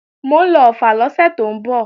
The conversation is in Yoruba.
Mò ń lọ Ọ̀ffà lọ́sẹ̀ tó ń bọ̀